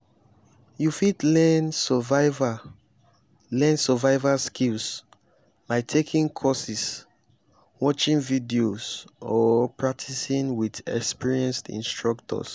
you fit learn survival learn survival skills by taking courses watching videos or practicing with experienced instructors.